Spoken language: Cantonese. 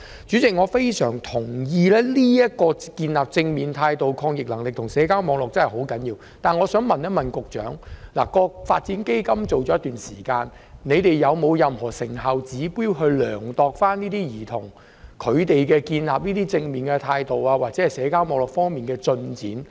"主席，我非常贊同建立正面態度、抗逆能力及社交網絡的確十分重要，但我想問局長，基金已推行一段時間，你們有否任何成效指標來衡量兒童在建立正面態度或社交網絡方面的進展？